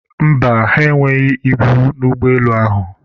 mba, ha enweghị ibu n'ụgbọelu ahụ